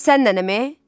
Sən nənəm e?